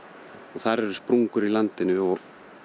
þar eru sprungur í landinu og